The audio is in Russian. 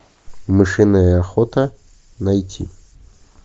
мышиная охота найти